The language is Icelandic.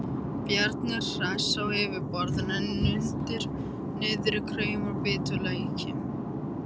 Bjarni er hress á yfirborðinu en undir niðri kraumar biturleiki.